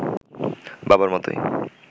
বাবার মতোই